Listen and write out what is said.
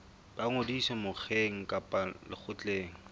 ba ngodiso mokgeng kapa lekgotleng